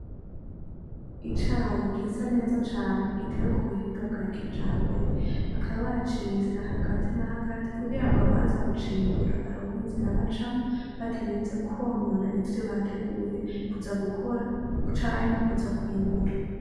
Icayi gisa neza cane giteye k'ubuhinga bwa kijambere, bakaba baciye inzira hagati na hagati kugira ngo abaza kucimbura baronke inzira bacamwo batarinze kwonona ivyo bateguye. Kuza gukora canke kuza kw'imbura.